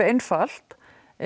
einfalt